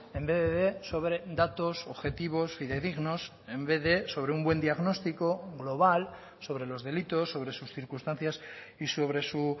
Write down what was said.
en vez de sobre datos objetivos fidedignos en vez de sobre un buen diagnóstico global sobre los delitos sobre sus circunstancias y sobre su